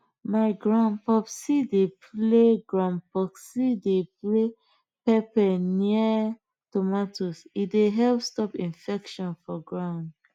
my grandpopsi dey play grandpopsi dey play pepper near tomato e dey help stop infections for ground